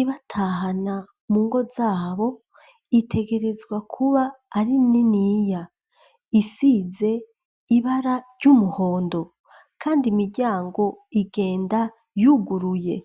ibatahana mu ngo zabo itegerezwa kuba ari niniya isize ibara ry'umuhondo kandi imiryango igenda yuguruye.